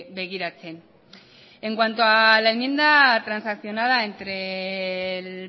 begiratzen en cuanto a la enmienda transaccionada entre el